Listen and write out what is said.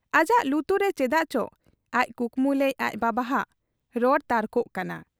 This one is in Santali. ᱟᱡᱟᱜ ᱞᱩᱛᱩᱨ ᱨᱮ ᱪᱮᱫᱟᱜ ᱪᱚ ᱟᱡ ᱠᱩᱠᱢᱩ ᱞᱮᱫ ᱟᱡ ᱵᱟᱵᱟᱦᱟᱜ ᱨᱚᱲ ᱛᱟᱨᱠᱚᱜ ᱠᱟᱱᱟ ᱾